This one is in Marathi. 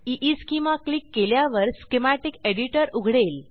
ईस्केमा क्लिक केल्यावर स्कीमॅटिक एडिटर उघडेल